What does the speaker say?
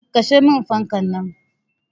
Kashe min fankan nan.